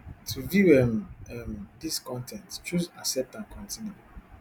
to view um um dis con ten t choose accept and continue